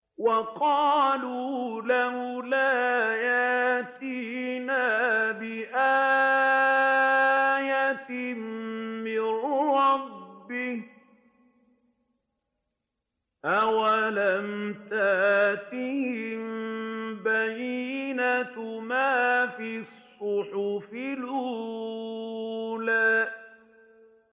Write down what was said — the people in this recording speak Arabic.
وَقَالُوا لَوْلَا يَأْتِينَا بِآيَةٍ مِّن رَّبِّهِ ۚ أَوَلَمْ تَأْتِهِم بَيِّنَةُ مَا فِي الصُّحُفِ الْأُولَىٰ